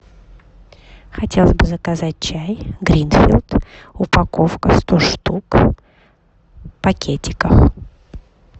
хотела бы заказать чай гринфилд упаковка сто штук в пакетиках